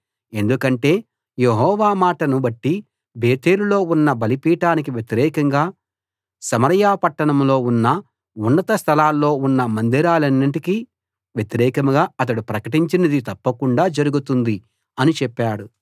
ఎందుకంటే యెహోవా మాటను బట్టి బేతేలులో ఉన్న బలిపీఠానికి వ్యతిరేకంగా సమరయ పట్టణంలో ఉన్న ఉన్నత స్థలాల్లో ఉన్న మందిరాలన్నిటికీ వ్యతిరేకంగా అతడు ప్రకటించినది తప్పకుండా జరుగుతుంది అని చెప్పాడు